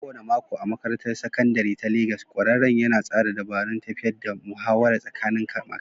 A kowane mako a Makarantar Sakandare ta Legas, ƙwararren yana tsara dabarun tafiyar da muhawar tsakanin makarantu.